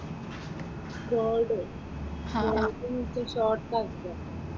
Code, കോഡെന്നു ഉദേശിച്ചത് short ആക്കുക.